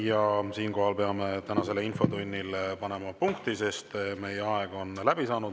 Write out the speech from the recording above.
Ja siinkohal peame tänasele infotunnile panema punkti, sest meie aeg on läbi saanud.